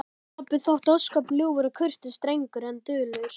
Pabbi þótti ósköp ljúfur og kurteis drengur en dulur.